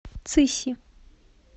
цыси